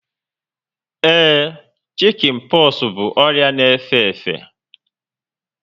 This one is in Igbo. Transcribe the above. Ee, shikin poxu bụ ọrịa na efe efe